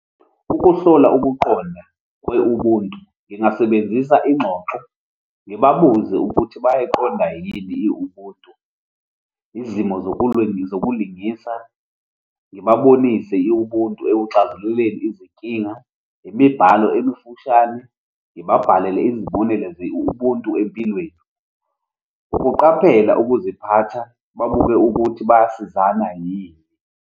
Ukuhlola ukuqonda kwe-ubuntu, ngingasebenzisa ingxoxo, ngibabuze ukuthi bayaqonda yini i-ubuntu, izimo zokulingisa, ngibabonise i-ubuntu ekuxazululeni izinkinga. Imibhalo emifushane, ngibabhalele izibonelo ze-ubuntu empilweni. Ukuqaphela ukuziphatha, babuke ukuthi bayasizana yini.